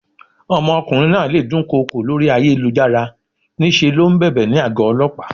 Ọmọkùnrin náà le dún kokò lórí ayélujára, ní ṣe ló ń bèbè ní àgó Ọlọ́pàá.